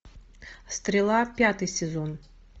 стрела пятый сезон